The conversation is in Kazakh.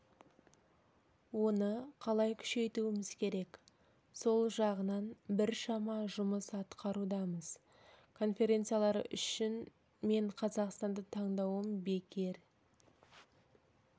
оны қалай күшейтуіміз керек сол жағынан біршама жұмыс атқарудамыз конференциялар үшін мен қазақстанды таңдауым бекер